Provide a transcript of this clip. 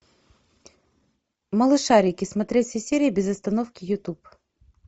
малышарики смотреть все серии без остановки ютуб